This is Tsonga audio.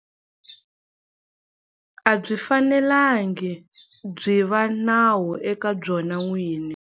A byi fanelangi byi va nawu eka byona n'wini.